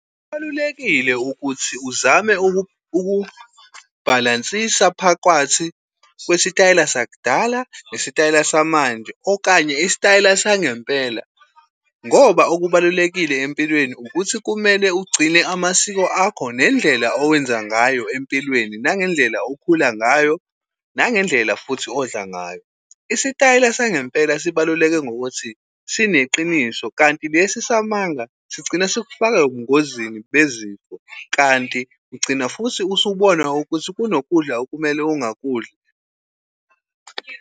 Kubalulekile ukuthi uzame ukubhalansisa phakwathi kwesitayela sakudala, nesitayela samanje, okanye isitayela sangempela. Ngoba okubalulekile empilweni ukuthi kumele ugcine amasiko akho nendlela owenza ngayo empilweni, nangendlela okhula ngayo, nangendlela futhi odla ngayo. Isitayela sangempela sibaluleke ngokuthi sineqiniso, kanti lesi samanga sigcine sikufake ebungozini bezifo. Kanti ugcina futhi usubona ukuthi kunokudla okumele ungakudli.